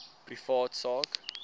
privaat sak